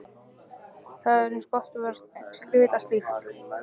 Það var eins gott að vita slíkt.